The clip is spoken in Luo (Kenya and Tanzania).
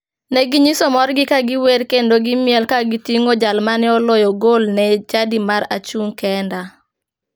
Ne ginyiso morgi ka giwer kendo gimiel ka giting'o jal mane oloyo gol ne chadi mar achung' kenda.